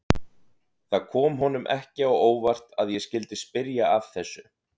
Það kom honum ekki á óvart að ég skyldi spyrja að þessu.